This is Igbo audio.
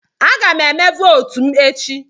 Aga m eme votu m echi.